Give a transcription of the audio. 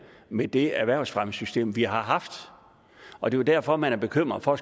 med det erhvervsfremmesystem vi har haft og det er derfor man er bekymret for at